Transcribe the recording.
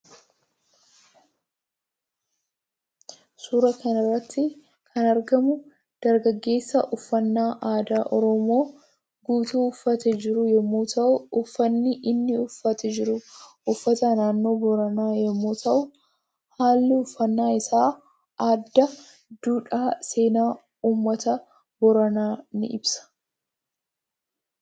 Suuraa kanarratti kan argamu dargaggeessa uffaanna aadaa oromoo guutuu uffatee jiruu yommuu ta'u uffannan inni uffatee jiru uffata naannoo booranaa yommuu ta'u haalli uffannaa isaa aadaa duudhaa seenaa uummata boorana ni ibsa